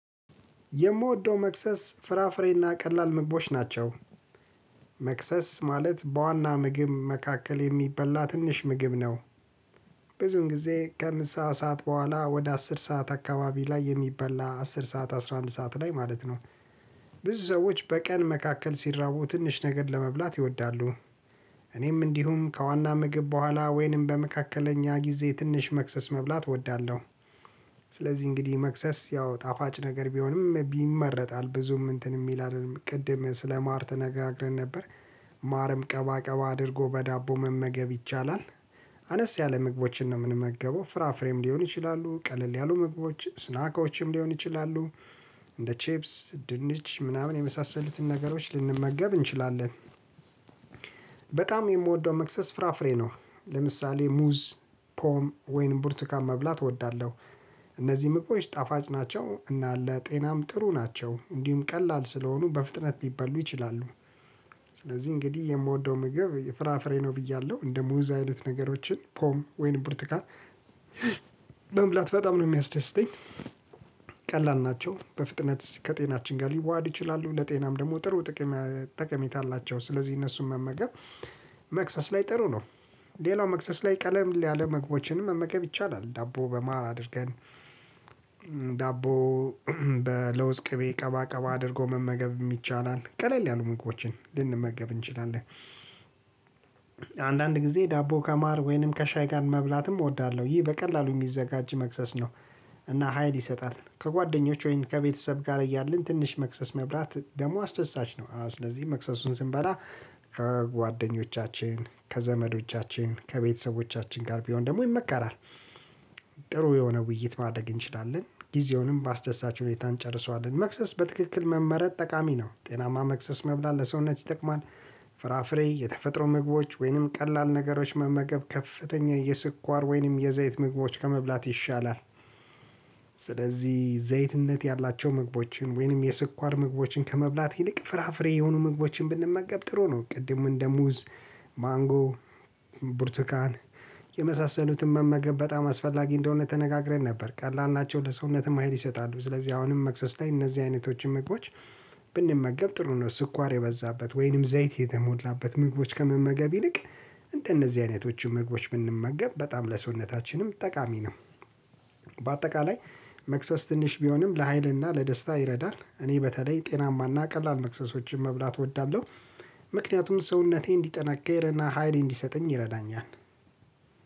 የምወደው መክሰስ ፍራፍሬና ቀላል ምግቦች ናቸው። መክሰስ ማለት በዋና ምግብ መካከል የሚበላ ትንሽ ምግብ ነው። ብዙን ጊዜ ከምሳ ሰዓት በኋላ ወደ አስር ሰዓት አካባቢ ላይ የሚበላ አስር ሰዓት አስራ አንድ ሰዓት ላይ ማለት ነው። ብዙ ሰዎች በቀን መካከል ሲራቡ ትንሽ ነገር ለመብላት ይወዳሉ። እኔም እንዲሁም ከዋና ምግብ በኋላ ወይንም በመካከለኛ ጊዜ ትንሽ መክሰስ መብላት እወዳለሁ። ስለዚህ እንግዲህ መክሰስ ያው ጣፋጭ ነገር ቢሆንም ቢመረጥ አል ብዙም እንትን ይላል ቅድም ስለማር ተነጋግረን ነበር። ማርም ቀባቀባ አድርጎ በዳቦ መመገብ ይቻላል። አነስ ያለ ምግቦችን ነው የምንመገበው ፍራፍሬም ሊሆን ይችላሉ ቀለል ያሉ ምግቦች ስናኮችም ሊሆን ይችላሉ። እንደ ቼፕስ ድንች ምናምን የመሳሰሉትን ነገሮች ልንመገብ እንችላለን። በጣም የምወደውን መክሰስ ፍራፍሬ ነው። ለምሳሌ ሙዝ ፖም ወይንም ቡርቱካን መብላት እወዳለሁ። እነዚህ ምግቦች ጣፋጭ ናቸው እና ለጤናም ጥሩ ናቸው እንዲሁም ቀላል ስለሆኑ በፍጥነት ሊበሉ ይችላሉ። ስለዚህ እንግዲህ የምወደው ምግብ የፍራፍሬ ነው ብያለሁ እንደ ሙዝ አይነት ነገሮችን ፖም ወይንም ብርቱካን መብላት በጣም ነው የሚያስደስተኝ። ቀላል ናቸው በፍጥነት ከጤናችን ጋር ሊዋሃድ ይችላሉ ለጤናም ደግሞ ጥሩ ጥቅም ጠቀሜታ አላቸው። ስለዚህ እነሱን መመገብ መክሰስ ላይ ጥሩ ነው። ሌላው መክሰስ ላይ ቀለል ያለ ምግቦችንም መመገብ ይቻላል። ዳቦ በማር አድርገን ዳቦ በለውዝ ቅቤ ቀባቀባ አድርጎ መመገብ የሚቻላል ቀለል ያሉ ምግቦችን ልንመገብ እንችላለን። አንዳንድ ጊዜ ዳቦ ከማር ወይንም ከሻይ ጋር መብላትም እወዳለሁ ይህ በቀላሉ የሚዘጋጅ መክሰስ ነው። እና ሀይል ይሰጣል ከጓደኞች ወይም ከቤተሰብ ጋር እያለን ትንሽ መክሰስ መብላት ደግሞ አስደሳች ነው። ስለዚህ መክሰሱን ስንበላ ከጓደኞቻችን ከዘመዶቻችን ከቤተሰቦቻችን ጋር ቢሆን ደግሞ ይመከራል። ጥሩ የሆነ ውይይት ማድረግ እንችላለን ጊዜውንም በአስደሳች ሁኔታ እንጨርሰዋለን መክሰስ በትክክል መመረጥ ጠቃሚ ነው። ጤናማ መክሰስ መብላት ለሰውነት ይጠቅማል። ፍራፍሬ የተፈጥሮ ምግቦች ወይንም ቀላል ነገሮች መመገብ ከፍተኛ የስኳር ወይንም የዘይት ምግቦች ከመብላት ይሻላል። ስለዚህ ዘይትነት ያላቸው ምግቦችን ወይንም የስኳር ምግቦችን ከመብላት ይልቅ ፍራፍሬ የሆኑ ምግቦችን ብንመገብ ጥሩ ነው። ቅድም እንደ ሙዝ ማንጎ ብርቱካን የመሳሰሉትን መመገብ በጣም አስፈላጊ እንደሆነ ተነጋግረን ነበር ቀላል ናቸው ለሰውነትም ሀይል ይሰጣሉ። ስለዚህ አሁንም መክሰስ ላይ እነዚህ አይነቶችን ምግቦች ብንመገብ ጥሩ ነው። ስኳር የበዛበት ወይንም ዘይት የተሞላበት ምግቦች ከመመገብ ይልቅ እንደነዚህ አይነቶችን ምግቦች ብንመገብ በጣም ለሰውነታችንም ጠቃሚ ነው። በአጠቃላይ መክሰስ ትንሽ ቢሆንም ለሀይልና ለደስታ ይረዳል እኔ በተለይ ጤናማና ቀላል መክሰሶችን መብላት እወዳለሁ። ምክንያቱም ሰውነቴን እንዲጠነከርና ሀይሌን እንዲሰጠኝ ይረዳኛል